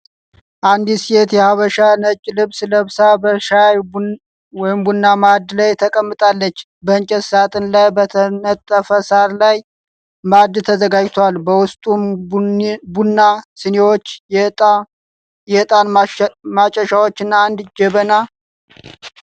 አንዲት ሴት የሐበሻ ነጭ ልብስ ለብሳ በሻይ/ቡና ማዕድ ተቀምጣለች። በእንጨት ሳጥን ላይ በተነጠፈ ሣር ላይ ማዕድ ተዘጋጅቷል፤ በውስጡም ቡና፣ ስኒዎች፣ የዕጣን ማጨሻዎችና አንድ ጀበና ።